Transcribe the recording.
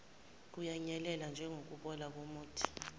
kuyanyelela njengokubola komuthi